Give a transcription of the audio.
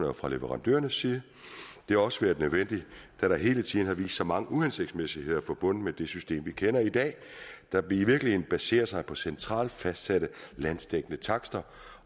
og fra leverandørernes side det har også været nødvendigt da der hele tiden har vist sig mange uhensigtsmæssigheder forbundet med det system vi kender i dag der i virkeligheden baserer sig på centralt fastsatte landsdækkende takster